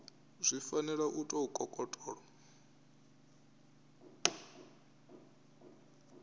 zwi fanela u tou kokotolo